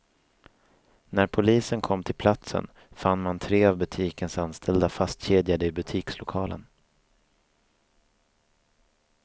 När polisen kom till platsen fann man tre av butikens anställda fastkedjade i butikslokalen.